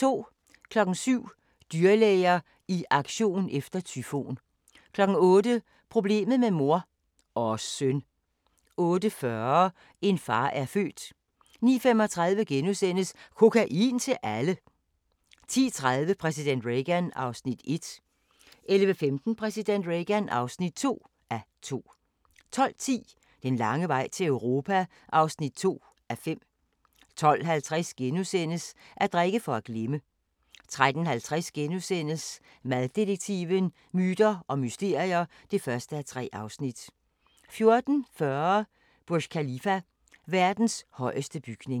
07:00: Dyrlæger i aktion efter tyfon 08:00: Problemet med mor – og søn! 08:40: En far er født 09:35: Kokain til alle! * 10:30: Præsident Reagan (1:2) 11:15: Præsident Reagan (2:2) 12:10: Den lange vej til Europa (2:5) 12:50: At drikke for at glemme * 13:50: Maddetektiven: Myter og mysterier (1:3)* 14:40: Burj Khalifa: Verdens højeste bygning